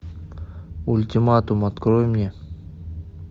ультиматум открой мне